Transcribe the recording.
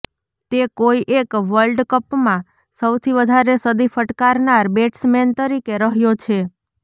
તે કોઇ એક વર્લ્ડ કપમાં સૌથી વધારે સદી ફટકારનાર બેટ્સમેન તરીકે રહ્યો છે